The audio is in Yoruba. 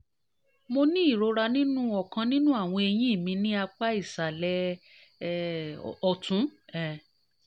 mo ní ìrora nínú ọkàn nínú àwọn eyín mi ní apá ìsàlẹ̀ um ọ̀tún um